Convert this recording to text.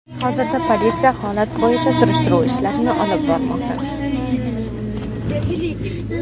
Hozirda politsiya holat bo‘yicha surishtiruv ishlarini olib bormoqda.